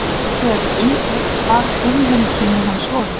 Hins vegar er umdeilt hvar frumheimkynni hans voru.